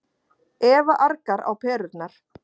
Eva argar á perurnar.